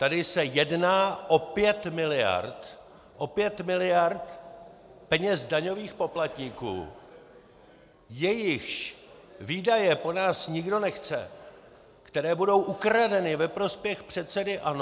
Tady se jedná o pět miliard, o pět miliard peněz daňových poplatníků, jejichž výdaje po nás nikdo nechce, které budou ukradeny ve prospěch předsedy ANO.